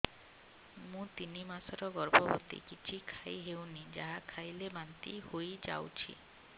ମୁଁ ତିନି ମାସର ଗର୍ଭବତୀ କିଛି ଖାଇ ହେଉନି ଯାହା ଖାଇଲେ ବାନ୍ତି ହୋଇଯାଉଛି